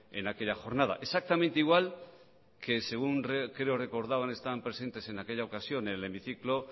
en aquella jornada exactamente igual que según creo recordar estaban presentes el hemiciclo